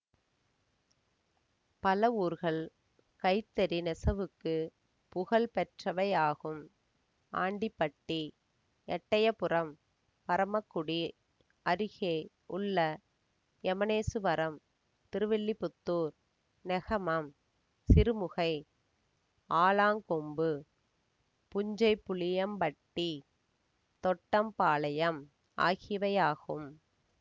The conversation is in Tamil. பல ஊர்கள் கைத்தறி நெசவுக்கு புகழ் பெற்றவையாகும் ஆண்டிபட்டி எட்டயபுரம் பரமக்குடி அருகே உள்ள எமனேசுவரம் திருவில்லிபுத்தூர் நெகமம் சிறுமுகை ஆலாங்கொம்பு புஞ்சைபுளியம்பட்டி தொட்டம்பாளையம் ஆகியவையாகும்